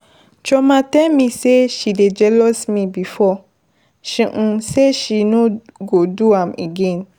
Chioma tell me say she dey jealous me before, she say she no go do am again.